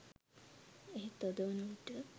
එහෙත් අද වන විට